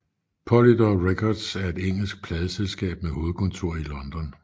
Polydor Records er et engelsk pladeselskab med hovedkontor i London